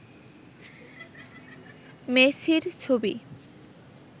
মেসির ছবি